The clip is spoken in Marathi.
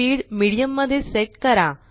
स्पीड मीडियम मध्ये सेट करा